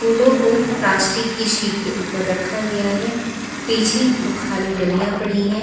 फूलों को प्लास्टिक की शीट के ऊपर रखा गया है पीछे तो खाली डलियां पड़ी हैं।